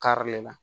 Karilen na